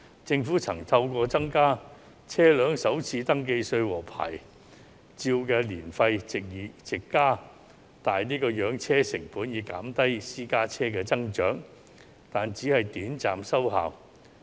政府曾透過增加車輛首次登記稅及牌照年費，藉此增加養車成本以減低私家車數目增長，但只是短暫收效。